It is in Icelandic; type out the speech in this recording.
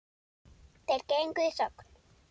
Þeir gengu í þögn.